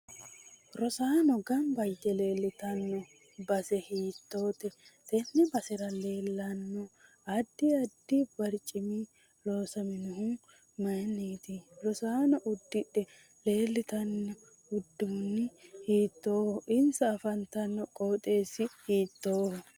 Rosaano ganba yite leeltanno base hiitoote tenne basera leelanno addi addi barcimi loosaminohi mayiiniiti rosaano uddidhe leeltanno uduuni hiitooho insa afantanno qooxeesi hiitooho